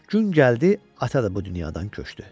Gün gəldi, ata da bu dünyadan köçdü.